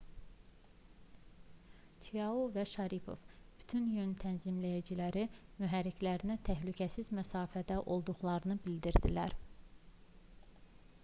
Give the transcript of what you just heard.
çiao və şaripov bütün yön tənzimləyiciləri mühərriklərinə təhlükəsiz məsafədə olduqlarını bildirdilər